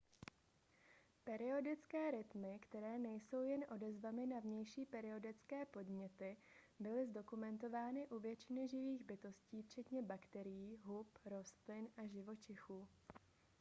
periodické rytmy které nejsou jen odezvami na vnější periodické podněty byly zdokumentovány u většiny živých bytostí včetně bakterií hub rostlin a živočichů